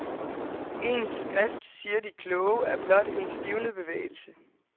Ens skrift siger de kloge, er blot en stivnet bevægelse.